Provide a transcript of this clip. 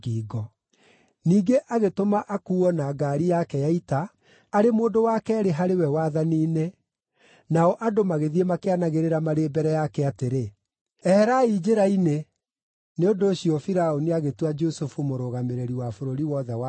Ningĩ agĩtũma akuuo na ngaari yake ya ita, arĩ mũndũ wa keerĩ harĩ we wathani-inĩ, nao andũ magĩthiĩ makĩanagĩrĩra marĩ mbere yake atĩrĩ, “Eherai njĩra-inĩ!” Nĩ ũndũ ũcio Firaũni agĩtua Jusufu mũrũgamĩrĩri wa bũrũri wothe wa Misiri.